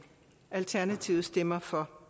alternativet stemmer for